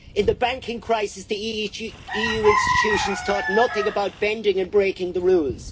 In the banking crisis the EU institutions thought nothing about bending and breaking the rules.